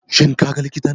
Shin kaga likitan?